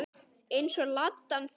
Eins og Ladan þín.